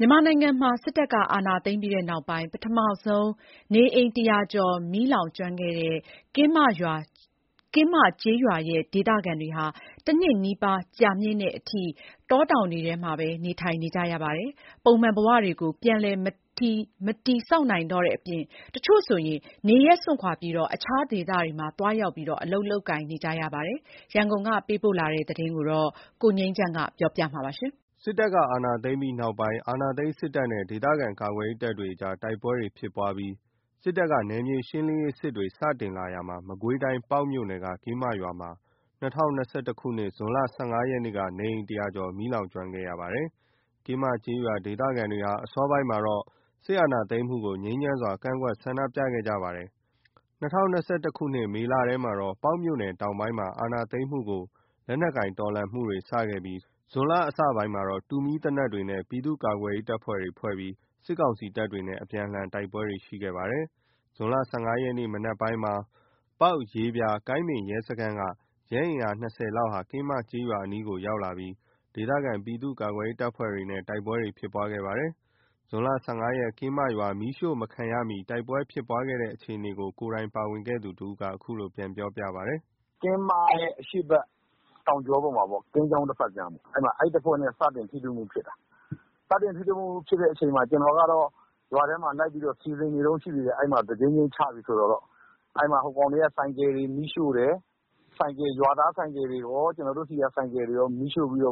မြန်မာနိုင်ငံမှာ စစ်တပ်က အာဏာသိမ်းပြီးနောက်ပိုင်း ပထမဆုံး နေအိမ် ၁၀၀ ကျော်မီးလောင်ကျွမ်းခဲ့တဲ့ ကင်းမကျေးရွာဒေသခံတွေဟာ တနှစ်နီးပါး ကြာမြင့်တဲ့အထိ တောတောင်တွေထဲမှာပဲ နေထိုင်နေရပါတယ်။ နေအိမ်တွေ မီးလောင်ကျွမ်းခဲ့တာကြောင့် ပုံမှန်ဘဝ ပြန်လည်မတည်ထောင်နိုင်တော့ဘဲ တချို့ ဆိုရင် နေရပ်စွန့်ခွာပြီး အလုပ်လုပ်ကိုင်နေကြရပါတယ်။ ကင်းမရွာ မီးလောင်ပြီး တနှစ်ပြည့် ဒေသခံတွေရဲ့ဘဝအခြေအနေ ရန်ကုန်က သတင်းပေးပို့ထားတာ ကိုငြိမ်းချမ်းက တင်ပြပေးထားပါတယ်။ စစ်တပ်အာဏာသိမ်းပြီးတဲ့နောက် အာဏာသိမ်းစစ်တပ်နဲ့ ဒေသခံကာကွယ်ရေးတပ်တွေ တိုက်ပွဲတွေ ဖြစ်ပြီး စစ်တပ်က နယ်မြေရှင်းလင်းရေးစစ်တွေ စတင်လာရာမှာ မကွေးတိုင်း၊ ပေါက်မြို့နယ်က ကင်းမ ရွာမှာ ၂၀၂၁ ခုနှစ် ဇွန်လ ၁၅ ရက်နေ့က နေအိမ် ကျော် မီးလောင်ကျွမ်းခဲ့ရတာပါ။ ကင်းမကျေး ရွာ ဒေသခံတွေဟာ အစောပိုင်းမှာ စစ်အာဏာသိမ်းမှုကို ငြိမ်းချမ်းစွာကန့်ကွက်ဆန္ဒပြခဲ့ကြပါတယ်။ ၂၀၂၁ မေလထဲမှာ ပေါက်မြို့နယ်တောင်ပိုင်းမှာ အာဏာသိမ်းမှုကို လက်နက်ကိုင်တော်လှန်မှုတွေစခဲ့ပြီး ဇွန်လအစပိုင်းမှာတော့ ပြည်သူ့ကာကွယ်ရေးအဖွဲ့ဖွဲပြီး တူမီးသေနတ်တွေသုံးပြီး စစ်ကောင်စီတပ်တွေနဲ့ အပြန်အလှန်တိုက်ပွဲတွေရှိခဲ့ပါတယ်။ ဇွန်လ ၁၅ ရက် မနက်ပိုင်းမှာ ပေါက်၊ ရေပြာ၊ ကိုင်းပင် ရဲစခန်းက ရဲအင်အား ၂၀ လောက်ဟာ ကင်းမကျေးရွာအနီး ရောက်ရှိလာပြီး ဒေသခံ ပြည်သူ့ ကာကွယ်ရေးအဖွဲ့တွေနဲ့ တိုက်ပွဲဖြစ်ပွားခဲ့ပါတယ်။ ဇွန်လ ၁၅ ရက် ကင်းမရွာ မီးမရှို့ခံရမီ တိုက်ပွဲဖြစ်ပွားခဲ့တဲ့အခြေအနေကို ကိုယ်တိုင်ပါဝင်ခဲ့သူ တဦးက အခုလို ပြန်ပြောပြပါတယ်။ “အဲ့မှာ ကင်းမရဲ့ အရှေ့ဘက်တောင်ကြောပေါ်မှာ ကင်းချောင်းတဘက်ကမ်းပေါ့။ အဲ့တဖွဲ့နဲ့ စတင်ထိတွေ့မှုဖြစ်တာ။ စတင်ထိတွေ့မှုဖြစ်တဲ့အချိန်မှာ ကျနော်ကတော့ ရွာထဲမှာလိုက်ပြီး စီစဉ်နေတုန်းရှိသေးတယ်။ တဂျိမ်းဂျိမ်းချပြီဆိုတော့ အဲ့မှာ ဟိုကောင်တွေက ဆိုင်ကယ်တွေ မီးရှို့တယ်။ ရွာသားဆိုင်ကယ်တွေကော ကျနော်တို့ဆီက ဆိုင်ကယ်တွေကော မီးရှို့ပြီးတ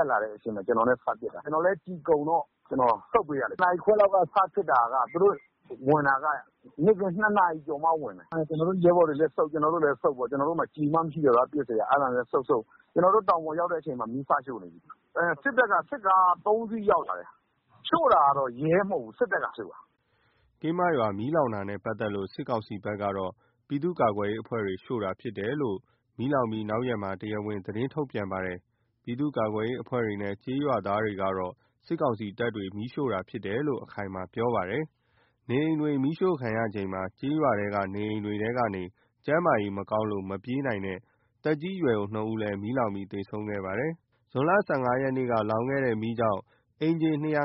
က်လာတဲ့အချိန် ကျနော်နဲ့ စဖြစ်တာ။ ကျနော်လည်း ကျည်ကုန်တော့ ဆုတ်ပေးရတယ်။ ၁၀ နာရီခွဲလောက်က စဖြစ်တာက သူတို့ ဝင်တာက နေ့ခင်း ၂ နာရီကျော်မှ ဝင်တယ်။ အဲ့မှာ ကျနော်တို့ရဲဘော်တွေလည်းဆုတ်၊ ကျနော်တို့လည်း ဆုတ်ပေါ့။ ကျနော်တို့မှာ ပစ်စရာကျည်မှ မရှိတော့တာ။ အဲ့ဒါနဲ့ ဆုတ်ဆုတ်ရင်း ကျနော်တို့ တောင်ပေါ်ရောက်တဲ့အချိန်မှာ မီးစရှို့နေပြီ။ စစ်တပ်က စစ်ကား ၃ စီးရောက်လာတယ်။ ရှို့တာက ရဲက ရှို့တာမဟုတ်ဘူး။ စစ်တပ်ကရှို့တာ။” ကင်းမရွာမီးလောင်တာနဲ့ပတ်သက်လို့ စစ်ကောင်စီဘက်က ပြည်သူ့ကာကွယ်ရေးအဖွဲ့တွေ မီးရှို့တာဖြစ်တယ်လို့ မီးလောင်ပြီး နောက်ရက်မှာ တရားဝင် သတင်းထုတ်ပြန်ပါတယ်။ ပြည်သူ့ကာကွယ်ရေးအဖွဲ့တွေနဲ့ ကျေးရွာသားတွေကတော့ စစ်ကောင်စီတပ်တွေ မီးရှို့တာဖြစ်တယ်လို့ အခိုင်အမာ ပြောပါတယ်။ နေအိမ်တွေမီးရှို့ခံရချိန်မှာ ကျေးရွာထဲက နေအိမ်တွေထဲကနေ ကျန်းမာရေး မကောင်းလို့ မပြေးနိုင်တဲ့ သက်ကြီးရွယ်အို ၂ ဦးလည်း မီးလောင်ပြီး သေဆုံးခဲ့ပါသေးတယ်။ ၂၀၂၁ ခုနှစ်ဇွန်လ ၁၅ ရက်နေ့က ရွာမီးလောင်ကျွမ်းခဲ့တာကြောင့် အိမ်ခြေ ၂၅၄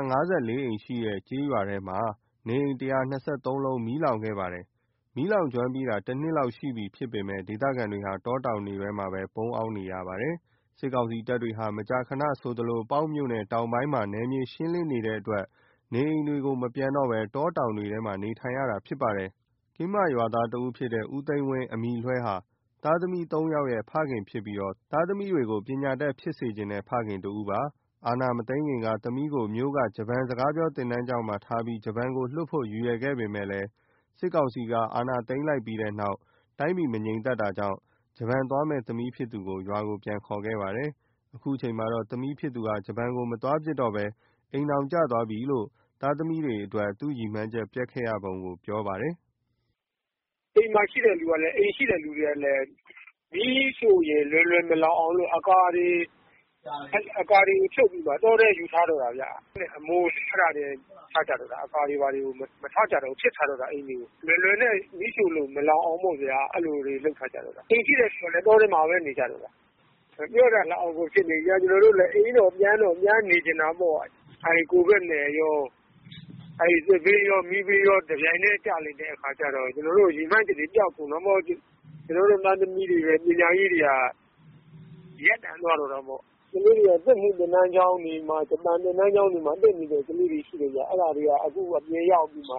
လုံးရှိတဲ့ ကျေးရွာဟာ နေအိမ် ၁၂၃ လုံး လောင်ကျွမ်းခဲ့ရပါတယ်။ မီးလောင်ကျွမ်းပြီးတာ ၁ နှစ်လောက်ရှိပြီဖြစ်ပေမယ့် ဒေသခံတွေဟာ တောတောင်တွေထဲမှာပဲ နေထိုင်နေရပါတယ်။ စစ်ကောင်စီတပ်တွေဟာ မကြာခဏဆိုသလို ပေါက်မြို့နယ် တောင်ပိုင်းမှာ နယ်မြေရှင်းလင်းနေတဲ့အတွက် နေအိမ်တွေကို မပြန်တော့ဘဲ တောတောင်တွေထဲမှာပဲ နေထိုင်နေရတာဖြစ်ပါတယ်။ ကင်းမကျေးရွာသားတဦးဖြစ်တဲ့ ဦးသိန်းဝင်း ဟာ သားသမီး ၃ ဦးရဲ့ အဖေဖြစ်ပြီး သားသမီးတွေကို ပညာတတ်ဖြစ်ကြဖို့ ရည်မှန်းချက်ရှိတဲ့ ဖခင်တဦးပါ။ အာဏာမသိမ်းခင်က သမီးကို မြို့က ဂျပန်စကားပြော သင်တန်းကျောင်းမှာထားပြီး ဂျပန်ကိုလွှတ်ဖို့ ရည်ရွယ်ခဲ့ပြီး စစ်ကောင်စီက အာဏာသိမ်းလိုက်ပြီးတဲ့နောက် တိုင်းပြည်မငြိမ်မသက်တာကြောင့် ဂျပန်သွားမယ့် သမီးဖြစ်သူကို ရွာကို ပြန်ခေါ်ခဲ့ပါတယ်။ အခုအခါမှာတော့ သမီးဖြစ်သူဟာ ဂျပန်ကို မသွားဖြစ်တော့ဘဲ အိမ်ထောင်ကျသွားပြီလို့ သားသမီးအတွက် သူ့ရည်မှန်းချက်ပျက်ခဲ့ရပုံကို ရယ်ပွဲဖွဲ့ပြီး ပြောပါတယ်။ “အိမ်မှာရှိတဲ့သူတွေကလည်း မီးရှို့ရင် လွယ်လွယ် မလောင်အောင်လို့ အကာတွေဖြုတ်ပြီးတော့မှ ယူထားတော့တာ။ ကြမ်းခင်းနဲ့ အမိုးနဲ့ အဲ့ဒါတွေပဲ ထားထားကြတော့တာ။ အကာတွေဘာတွေမထားတော့ဘူး။ ပစ်ထားကြတော့တာ အိမ်တွေကို။ လွယ်လွယ်နဲ့ မီးရှို့လို့ မလောင်အောင်ပေါ့ဗျာ။ အဲ့လိုတွေလုပ်ထားကြတော့တာ။ အိမ်ရှိတဲ့သူတွေကလည်း တောထဲမှာပဲ နေကြရတော့တာ။ မပြောတတ်လောက်အောင်ကိုဖြစ်နေပြီ။ ကျနော်တို့လည်း အိမ်တော့ ပြန်တော့ ပြန်နေချင်တာပေါ့။ အဲ့ကိုဗစ်နဲ့ကော စစ်ဘေးနဲ့ မီးဘေးကော တပြိုင်တည်း ကျလိုက်တဲ့အခါကျတော့ ကျနော်တို့ရည်မှန်းချက်တွေ ပျောက်ကုန် တာပေါ့။ ကျွန်တော်တို့ သားသမီးတွေရဲ့ ပညာရေးတွေက ရပ်တန့်သွားတော့တာပေါ့။ ကလေးတွေက စက်မှုသင်တန်းကျောင်းတွေမှာ၊ ဂျပန်သင်တန်းကျောင်းတွေမှာ တက်နေတဲ့ သူတွေရှိတယ်ဗျ။ အဲ့ဒါတွေက အခုပြန်ရောက်ပြီးမှ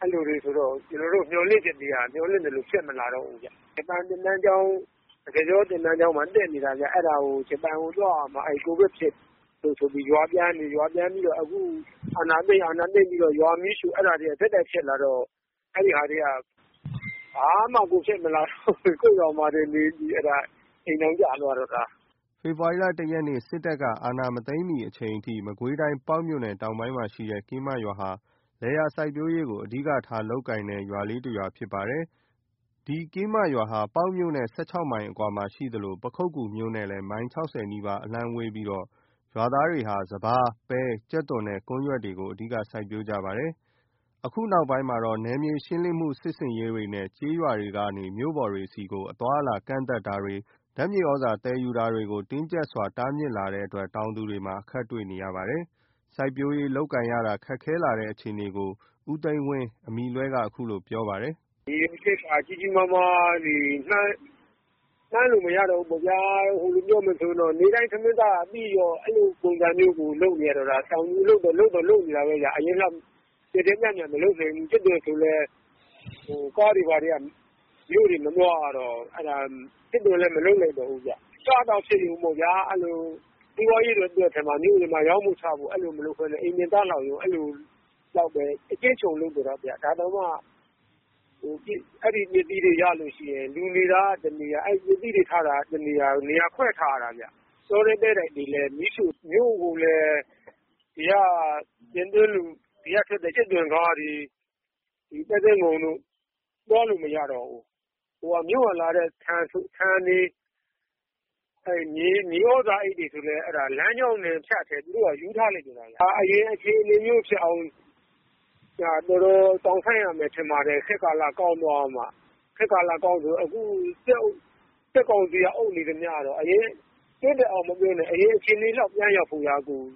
အဲ့လိုတွေဆိုတော့ ကျွန်တော်တို့ မျှော်လင့်ချက်တွေက မျှော်လင့်သလို ဖြစ်မလာတော့ဘူးဗျ။ ဂျပန်သင်တန်းကျောင်း စကားပြောသင်တန်းကျောင်းမှာ တက်နေတာဗျ။ ဂျပန်ကိုသွားရမှာ အဲ့ဒါကို ကိုဗစ်ဖြစ်လို့ဆိုပြီး ရွာပြန်နေ ရွာပြန်နေတော့ အာဏာသိမ်း။ အာဏာသိမ်းပြီးတော့ ရွာမီးရှို့ ။ အဲ့ဒါတွေက ဆက်တိုက်ဖြစ်လာတော့ အဲ့ဟာတွေက ဘာမှကို ဖြစ်မလာတော့ဘဲ ကိုယ့်ရွာနေပြီး အိမ်ထောင်ကျသွားတော့တာ။” ဖေဖော်ဝါရီလ ၁ ရက် စစ်တပ်က အာဏာမသိမ်းမီအချိန်အထိ မကွေးတိုင်း ပေါက်မြို့နယ်တောင်ပိုင်းမှာရှိတဲ့ ကင်းမရွာဟာ လယ်ယာစိုက်ပျိုးရေးကို အဓိကထားလုပ်ကိုင်တဲ့ အေးချမ်းတဲ့ ကျေးရွာလေးတရွာဖြစ် ပါတယ်။ ပေါက်မြို့နယ်နဲ့ ၁၆ မိုင်အကွာမှာရှိသလို ပခုက္ကူမြို့နဲ့ မိုင် ၆၀ နီးပါး အလှမ်းဝေးပြီး ကျေး ရွာ သားတွေဟာ စပါး၊ ပဲ၊ ကြက်သွန်နဲ့ ကွမ်းရွက်တွေကို အဓိက စိုက်ပျိုးကြပါတယ်။ ဒီနောက်ပိုင်း နယ်မြေရှင်းလင်းပြီး ကျေးရွာတွေကနေ မြို့ပေါ်တွေဆီကို အသွားအလာကန့်သတ်တာတွေ ဓာတ်မြေသြဇာသယ် ယူတာတွေကို တင်းကြပ်စွာ တားမြစ်လာတဲ့အတွက် တောင်သူတွေမှာ အခက်တွေ့လာရပါတယ်။ စိုက်ပျိုးရေးလုပ်ကိုင်ရတာ ခက်ခဲလာတဲ့အခြေအနေကို ဦးသိန်းဝင်း က အခုလိုပြောပြပါမယ်။ “ရည်ရွယ်ချက်က ကြီးကြီးမားမားတွေ မှန်းလို့မရတော့ဘူးပေါ့ဗျာ။ ပြောမယ်ဆိုရင် နေ့တိုင်းထမင်းစားရပြီးရော အဲ့လို ပုံစံမျိုးကို လုပ်နေရတာ။ တောင်သူအလုပ်တော့ လုပ်နေတာပဲ အရင်လောက်တော့ ကျယ်ကျယ်ပြန့်ပြန့်မလုပ်နိုင်တော့ဘူး။ ကြက်သွန်ဆိုလည်း ကားတွေဘာတွေက မြို့တွေမသွားရတော့ ကြက်သွန်လည်း မလုပ်နိုင်တော့ဘူး။ စားသောက်ဖြစ်ယုံပေါ့ဗျာ။ စီးပွားရေးအတွက် မြို့ပေါ်မှာ ရောင်းဖို့ချဖို့ မလုပ်ဘဲ အိမ်တွင် စားလောက်ယုံ အဲ့လိုလောက်ပဲ အကျဉ်းချုံးလုပ်တော့တာဗျ။ ဒါတောင်မှ အဲ့ဒီပစ္စည်းတွေရလို့ရှိရင် လူနေတာက တနေရာ၊ ပစ္စည်းတွေထားတာက တနေရာ နေရာခွဲထားရတာဗျ။ တောထဲ တဲတိုက်တွေကိုလည်း မီးရှို့တယ်။ မြို့ကိုလည်း ဒီကထွက်တဲ့ ကြက်သွန်ကားတွေ၊ ပဲစင်းငုံတို့ အဲ့ဒါတွေ သွားလို့မရတော့ဘူး။ မြို့ကလာတဲ့ ဆန်တွေ မြေသြဇာအိတ်တွေ ဆိုရင်လည်း လမ်းကြောင်းကနေဖြတ်ပြီး သူတို့က ယူထားလိုက်တော့တာဗျ။ အရင် အခြေအနေဖြစ်အောင် တော်တော်စောင့်ဆိုင်းရမယ်ထင်ပါတယ်။ ခေတ်ကာလကောင်းသွားမှ ခေတ်ကာလကောင်းဆို အခုစစ်ကောင်စီက အုပ်နေသမျှတော့ အရင်အခြေအနေလောက် ပြန်ရောက်ဖို့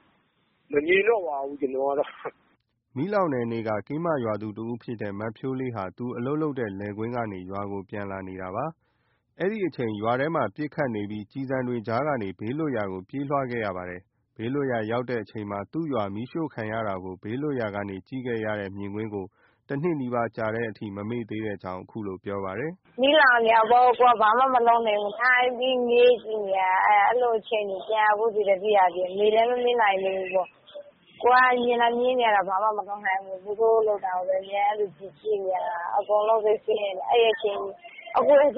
မမြင်တော့ပါဘူး။” မီးလောင်တဲ့နေ့က ကင်းမရွာသူတဦးဖြစ်တဲ့ မဖြိုးလေးဟာ သူအလုပ်လုပ်တဲ့ လယ်ကွင်းကနေ ရွာကို ပြန်လာနေတာ ဖြစ်ပါတယ်။ အဲ့ဒီအချိန် ရွာထဲမှာ ပစ်ခတ်နေပြီး ကျည်ဆံတွေ ကြားကနေ ဘေးလွတ်ရာကို ပြေးလွှားခဲ့ရပါတယ်။ ဘေးလွတ်ရာရောက်တဲ့အချိန်မှာ သူ့ရွာ မီးရှို့ခံရတာကို ဘေးလွတ်ရာ နေရာကနေ ကြည့်ရခဲ့ရတဲ့ မြင်ကွင်းကို ၁ နှစ်နီးပါး ကြာမြင့်ချိန်အထိ မမေ့သေးတဲ့ အကြောင်း ပြောပါတယ်။ “မီးလောင်နေတာကို ကိုယ်က ဘာမှမလုပ်နိုင်ခဲ့ဘူး။ ထိုင်ပြီးငေးကြည့်နေခဲ့ရတာ။ အဲ့လိုအချိန်ကို အခုထိလည်း သတိရသေးတယ်။ မေ့လည်း မမေ့နိုင်သေးဘူးပေါ့။ ကိုယ်က မြင်သာမြင်ရတာ ဘာမှ မလုပ်နိုင်ခဲ့ဘူးပေါ့။သူတို့လုပ်တာကိုပဲ ဒီတိုင်းကြည့်နေရတာ။ အခုထက်ထိ မမေ့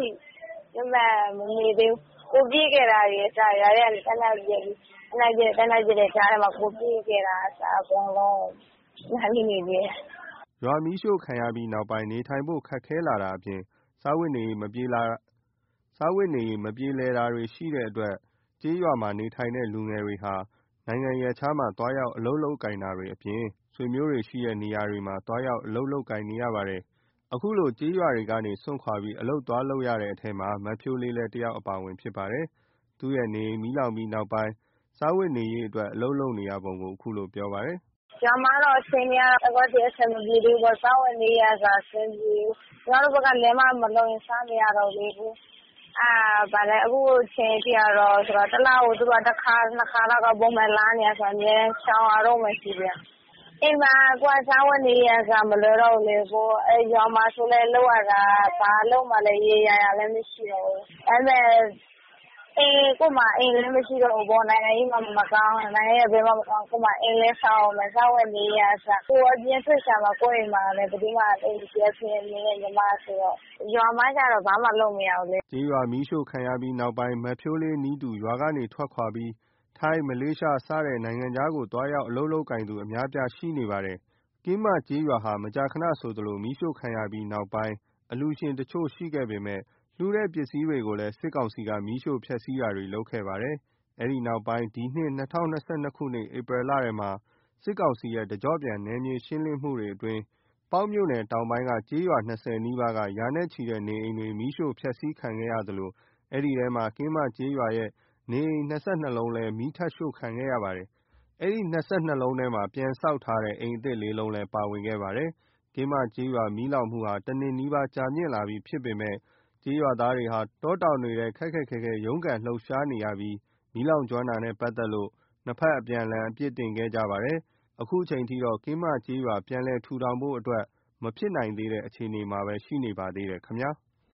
သေးဘူး။ ကိုယ်ပြေးခဲ့ရတာတွေကအစ ရွာထဲကနေ သေနတ်ပစ် သေနတ်တွေပစ်နေတဲ့ ကြားထဲက ပြေးခဲ့ရတာတွေကအစ အကုန်မှတ်မိနေသေးတယ်။”- ရွာမီးရှို့ပြီးနောက်ပိုင်း နေထိုင်ဖို့ ခက်ခဲလာတာအပြင် စားဝတ်နေရေး မပြေလည်တာတွေ ရှိလာတဲ့အတွက် ကျေးရွာကနေထိုင်တဲ့လူငယ်တွေဟာ နိုင်ငံရပ်ခြားမှာ သွားရောက် အလုပ်လုပ်ကိုင်တာတွေအပြင် ဆွေမျိုးတွေရှိတဲ့ နေရာတွေမှာ သွားရောက် အလုပ်လုပ်ကိုင်နေကြရပါတယ်။ အခုလို ကျေးရွာတွေကို စွန့်ခွါပြီး သွားရောက်အလုပ်လုပ်ကိုင်ရတဲ့ထဲမှာ မဖြိုးလေးလည်း တယောက် အပါအဝင် ဖြစ်ပါတယ်။ သူ့ရဲ့ နေအိမ် မီးလောင်ပြီးနောက်ပိုင်း စားဝတ်နေရေးအတွက် အလုပ်လုပ်လုပ်ဖြစ်ပုံကိုလည်း အခုလိုပြောပြပါသေးတယ်။ “ရွာမှာတော့ အခြေအနေကတော့ အခုထက်ထိ အဆင်မပြေသေးဘူးပေါ့။ စားဝတ်နေရေးကအစ အဆင်မပြေဘူး။ ညီမတို့ဘက်က လယ်မှ မလုပ်ရင် စားမရတော့ဘူးလေ။ အခုချိန်ထိက သူတို့က တလကို ၁ ခါ ၂ ခါ ပုံမှန်လာတာဆိုတော့ အမြဲတမ်း ရှောင်နေရတုန်းပဲရှိသေးတယ်။ အိမ်မှာက စားဝတ်နေရေးကအစ မလွယ်တော့ဘူးလေ။ ရွာမှာဆိုလည်း လုပ်ရတာ ဘာအလုပ်မှ ရေရေရာရာမရှိတော့ဘူး။ ကိုယ့်မှာ အိမ်လည်းမရှိတော့ဘူး။ နိုင်ငံရေးမှမကောင်းတာ။ နိုင်ငံရေးက ဘယ်မှမကောင်း ကိုယ့်မှာ အိမ်လည်း ဆောက်ရမယ်။ စားဝတ်နေရေးကအစ။ ကိုယ်အပြင်ထွက်ရှာမှ ကိုယ့်အိမ်မျာ အဖေအမေနဲ့ညီမနဲ့ဆိုတော့ ရွာမှတော့ ဘာမှ လုပ်မရတော့ဘူးလေ။” ကျေးရွာမီးရှို့ခံရပြီးနောက်ပိုင်း မဖြိုးလေးနည်းတူ ရွာကနေ ထွက်ခွါပြီး ထိုင်း ၊ မလေးရှား စတဲ့ နိုင်ငံခြားတွေကို သွားရောက် အလုပ်အလုပ်ကိုင်သူ အများအပြားရှိနေပါတယ်။ ကင်းမကျေးရွာဟာ မကြာခဏဆိုသလို မီးရှို့ခံရပြီး စတင်မီးလောင်ပြီးနောက်ပိုင်း အလှူရှင်အချို့ရှိခဲ့ပေမယ့် လှူတဲ့ပစ္စည်းအချို့ကိုလည်း စစ်ကောင်စီက မီးရှို့ဖျက်ဆီးတာတွေ လုပ်ခဲ့ပါသေးတယ်။ အဲ့ဒီနောက် ဒီနှစ် ၂၀၂၂ ခုနှစ် ဧပြီလထဲမှာ စစ်ကောင်စီရဲ့ တကျော့ပြန် နယ်မြေရှင်းလင်းမှုတွေအတွင်း ပေါက်မြို့နယ်တောင်ပိုင်းက ကျေးရွာ ၂၀ နီးပါးက ရာနဲ့ချီတဲ့ နေအိမ်တွေ မီးရှို့ဖျက်ဆီးခံခဲ့ရသလို အဲ့ဒီထဲမှာ ကင်းမကျေးရွာရဲ့ နေအိမ် ၂၂ လုံး မီးရှို့လုံးလည်း မီးထပ် ရှို့ခဲ့ခံရပါတယ်။ အဲ့ဒီ ၂၂ လုံးထဲမှာ နေအိမ်တွေ မီးလောင်ကျွမ်းခဲ့တဲ့နေရာမှာ ပြန်ဆောက်ထားတဲ့ အိမ်အသစ် ၄ လုံးလည်း ပါဝင်ခဲ့ပါတယ်။ ကင်းမကျေးရွာမီးလောင်မှုဟာ ၁ နှစ်နီးပါး ကြာမြင့်လာပြီဖြစ်ပေမယ့် ကျေးရွာသားတွေဟာ တောတောင်တွေထဲ ခက်ခက်ခဲခဲ ရုန်းကန်လှုပ်ရှားနေရပြီး မီးလောင်ကျွမ်းတာနဲ့ ပတ်သက်လို့ နှစ်ဘက် အပြန်အလှန် အပြစ်တင်ခဲ့ကြပြီး အခုချိန်ထိတော့ ပြန်လည်ထူထောင်ဖို့အတွက် မဖြစ်နိုင်သေးတဲ့ အခြေအနေမှာပဲရှိနေပါသေးတယ်ခင်ဗျာ။